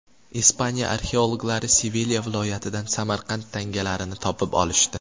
Ispaniya arxeologlari Sevilya viloyatidan Samarqand tangalarini topib olishdi.